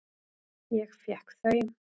Ég fékk þau.